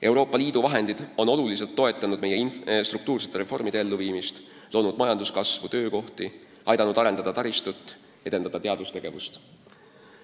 Euroopa Liidu vahendid on oluliselt toetanud meie struktuursete reformide elluviimist, aidanud tagada majanduskasvu ja luua töökohti, arendada taristut ning edendada teadustegevust.